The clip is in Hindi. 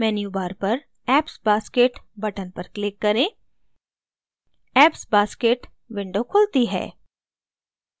menu bar पर apps basket button पर click करें apps basket window खुलती है